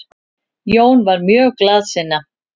Jón var mjög glaðsinna.